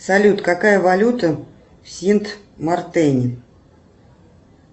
салют какая валюта в синт мартене